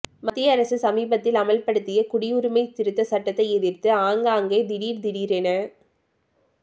மத்திய அரசு சமீபத்தில் அமல்படுத்திய குடியுரிமை திருத்த சட்டத்தை எதிர்த்து ஆங்காங்கே திடீர் திடீரென